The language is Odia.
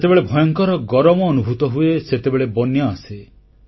ଯେତେବେଳେ ଭୟଙ୍କର ଗରମ ଅନୁଭୂତ ହୁଏ ସେତେବେଳେ ବନ୍ୟା ଆସେ